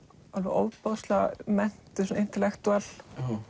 ofboðslega menntuð intellectual